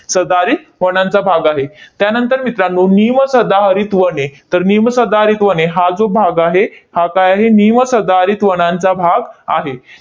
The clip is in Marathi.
सदाहरित वनांचा भाग आहे. त्यानंतर मित्रांनो, निमसदाहरित वने. तर निमसदाहरित वने हा जो भाग आहे, हा काय आहे? निमसदाहरित वनांचा भाग आहे.